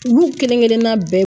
Olu kelen kelenna bɛɛ